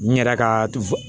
N yɛrɛ ka du